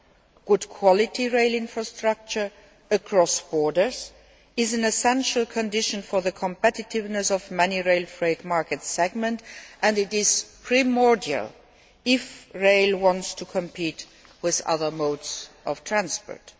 Good quality rail infrastructure across borders is an essential condition for the competitiveness of many rail freight market segments, and it is primordial if rail wants to compete with other modes of transport.